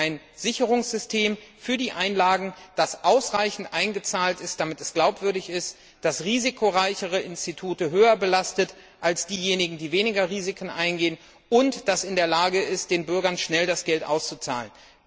Sie wollen ein Sicherungssystem für die Einlagen, das ausreichend gedeckt ist, damit es glaubwürdig ist, dass risikoreichere Institute höher belastet werden als diejenigen, die weniger Risiken eingehen, und das in der Lage ist, den Bürgern das Geld schnell auszuzahlen.